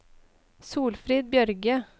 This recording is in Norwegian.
Solfrid Bjørge